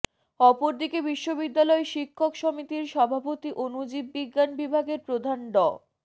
অপরদিকে বিশ্ববিদ্যালয় শিক্ষক সমিতির সভাপতি অনুজীব বিজ্ঞান বিভাগের প্রধান ড